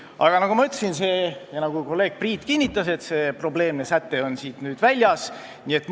Aga nagu ma ütlesin ja nagu kolleeg Priit kinnitas, see probleemne säte on nüüd välja jäetud.